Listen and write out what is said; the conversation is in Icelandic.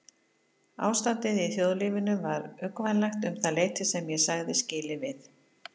Ástandið í þjóðlífinu var uggvænlegt um það leyti sem ég sagði skilið við